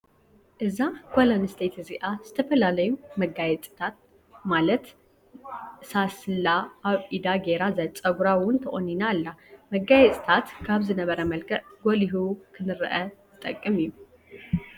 እዛ ጓል ኣነስተይቲ እዚኣ ዝተፈላለዩ መጋየፂ ማለት ሳስላ ኣብ ኢዳ ገይራ ፀጉራ እውን ተቆኒነ ኣላ። መጋየፅታት ካብ ዝነበረ መልክዕ ጎሊሁ ክንረኣ ዝጠቅም እዩ።